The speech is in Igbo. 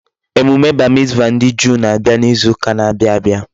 Emume bar mitzvah ndi Juu na-abia n'izu uka n'abia abia